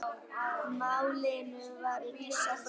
Málinu var vísað frá.